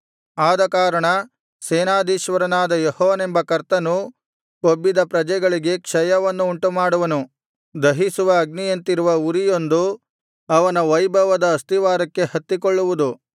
ಆದಕಾರಣ ಸೇನಾಧೀಶ್ವರನಾದ ಯೆಹೋವನೆಂಬ ಕರ್ತನು ಕೊಬ್ಬಿದ ಪ್ರಜೆಗಳಿಗೆ ಕ್ಷಯವನ್ನು ಉಂಟುಮಾಡುವನು ದಹಿಸುವ ಅಗ್ನಿಯಂತಿರುವ ಉರಿಯೊಂದು ಅವನ ವೈಭವದ ಅಸ್ತಿವಾರಕ್ಕೆ ಹತ್ತಿಕೊಳ್ಳುವುದು